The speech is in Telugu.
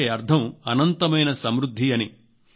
అంటే అర్థం అనంతమైన సమృద్ధి అని